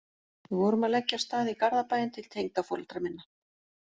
Við vorum að leggja af stað í Garðabæinn til tengdaforeldra minna